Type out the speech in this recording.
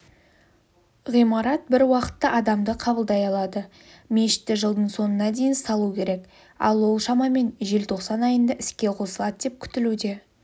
ғимарат бір уақытта адамды қабылдай алады мешітті жылдың соңына дейін салу керек ал ол шамамен желтоқсан айында іске қосылады деп күтілуде